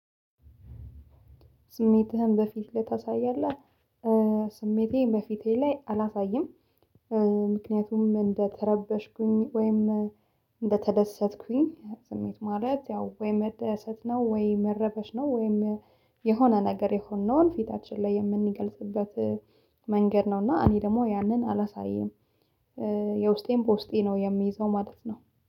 ስሜትህን በፊትህ ታሳያለህ? ስሜቴ በፊቴ ላይ አላሳይም። ምክንያቱም እንደተረበሽኩኝ ወይም እንደተደሰትኩኝ ስሜት ማለት ያው ወይ መደሰት ነው ወይ መረበሽ ነው። ወይም የሆነ ነገር የሆነውን ፊታችን ላይ የምንገልጽበት መንገድ ነው። እና እኔ ደግሞ ያንን አላሳይም። የውስጤም በውስጤ ነው የምይዘው ማለት ነው